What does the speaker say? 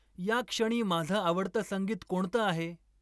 या क्षणी माझं आवडतं संगीत कोणतं आहे?